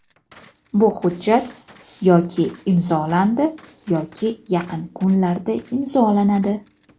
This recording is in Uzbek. bu hujjat] yoki imzolandi yoki yaqin kunlarda imzolanadi.